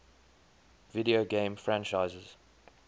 video game franchises